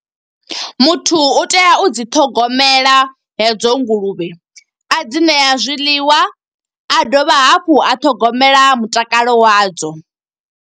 Muthu u tea u dzi ṱhogomela hedzo nguluvhe, a dzi ṋea zwiḽiwa, a dovha hafhu a ṱhogomela mutakalo wadzo.